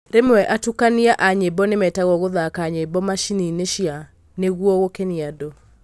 Rĩmwe atukania a nyĩmbo nĩmetagwo gũthaka nyĩmbo macininĩ cia nĩguo gũkenia andũ.